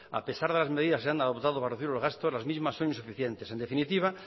a pesar de las medidas que se han adoptado para reducir los gastos las mismas son insuficientes en definitiva